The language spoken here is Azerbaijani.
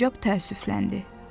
Sincab təəssüfləndi.